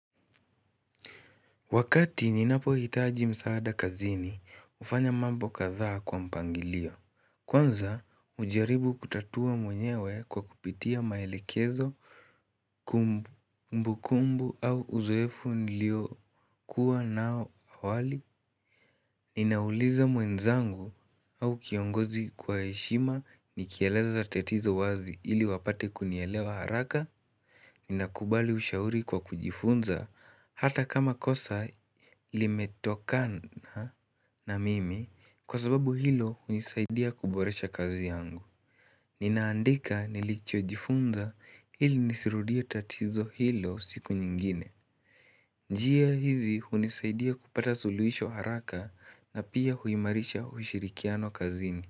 Wakati ninapo hitaji msaada kazini, ufanya mambo katha kwa mpangilio. Kwanza, ujaribu kutatua mwenyewe kwa kupitia maelekezo, kumbu kumbu au uzoefu nilio kuwa nao awali. Ninauliza mwenzangu au kiongozi kwa heshima ni kieleza tatizo wazi ili wapate kunielewa haraka. Ni nakubali ushauri kwa kujifunza hata kama kosa limetokana na mimi kwa sababu hilo unisaidia kuboresha kazi yangu. Ninaandika nilicho jifunza ili nisirudie tatizo hilo siku nyingine. Njia hizi unisaidia kupata suluisho haraka na pia huimarisha ushirikiano kazini.